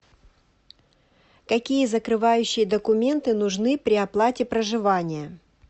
какие закрывающие документы нужны при оплате проживания